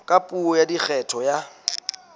ka puo ya kgetho ya